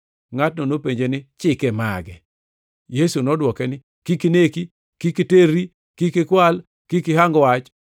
Ngʼatno nopenje niya, “Chike mage?” Yesu nodwoko ni, “ ‘Kik ineki, kik iterri, kik ikwal, kik ihang wach,